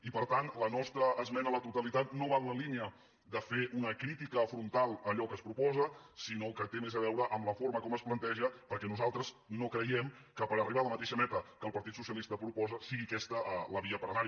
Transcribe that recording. i per tant la nostra esmena a la totalitat no va en la línia de fer una crítica frontal a allò que es proposa sinó que té més a veure amb la forma com es planteja perquè nosaltres no creiem que per arribar a la mateixa meta que el partit socialista proposa sigui aquesta la via per anar hi